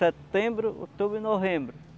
Setembro, outubro e novembro.